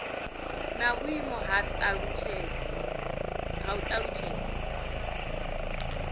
na vhuimo ha u talutshedza